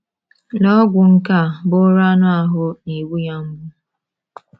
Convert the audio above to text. Lee ogwu nke a bụụrụ anụ ahụ́ na - egbu ya mgbu!